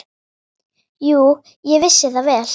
Jú, ég vissi það vel.